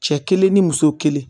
Cɛ kelen ni muso kelen